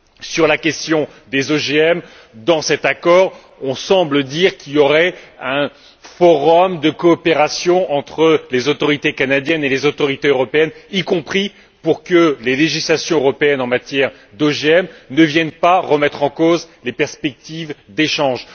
Sur la question des OGM, dans cet accord, on semble dire qu'il y aurait un forum de coopération entre les autorités canadiennes et les autorités européennes, y compris pour que les législations européennes en matière d'OGM ne viennent pas remettre en cause les perspectives d'échanges.